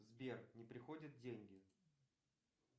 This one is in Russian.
сбер не приходят деньги